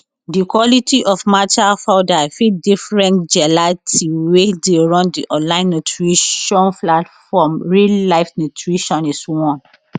di quality of matcha powder fit different galati wey dey run di online nutrition platform real life nutritionist warn